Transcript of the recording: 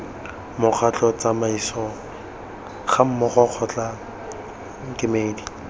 mokgatlho tsamaiso gammogo kgotla kemedi